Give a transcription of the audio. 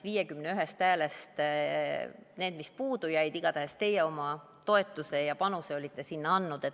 51 häälest jäi puudu, aga igatahes teie oma toetuse ja panuse olite sinna andnud.